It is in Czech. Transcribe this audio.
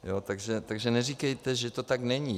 Takže neříkejte, že to tak není.